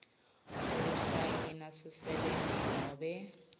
kusayina sisebenti nobe